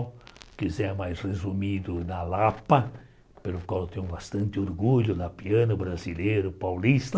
Se quiser mais resumido, na Lapa, pelo qual eu tenho bastante orgulho, na piano brasileiro, paulista.